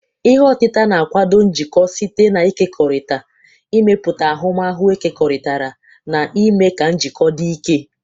Ihe otita na- akwado njikọ site n'ịkekọrịta, ịmepụta ahụmahu ekekọrịtara, na ime ka njikọ dị ike.